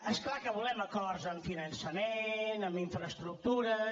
és clar que volem acords en finançament en infraestructures